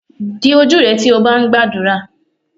Di ojú rẹ tí o bá ń gbàdúrà.